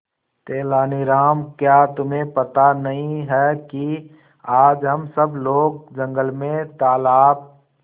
तेनालीराम क्या तुम्हें पता नहीं है कि आज हम सब लोग जंगल में तालाब